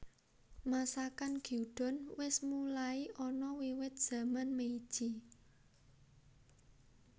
Masakan Gyudon wis mulai ana wiwit zaman Meiji